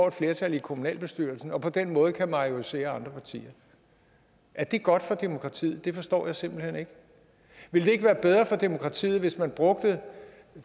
et flertal i kommunalbestyrelsen og på den måde kan majorisere andre partier er det godt for demokratiet det forstår jeg simpelt hen ikke ville det ikke være bedre for demokratiet hvis man brugte